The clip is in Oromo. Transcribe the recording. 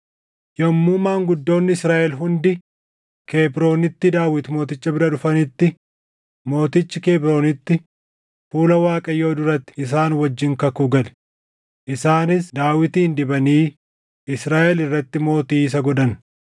Yommuu maanguddoonni Israaʼel hundi Kebroonitti Daawit mooticha bira dhufanitti mootichi Kebroonitti fuula Waaqayyoo duratti isaan wajjin kakuu gale; isaanis Daawitin dibanii Israaʼel irratti mootii isa godhan.